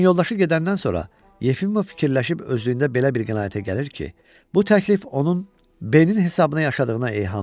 Lakin yoldaşı gedəndən sonra Yefimov fikirləşib özlüyündə belə bir qənaətə gəlir ki, bu təklif onun B-nin hesabına yaşadığına eyhamdır.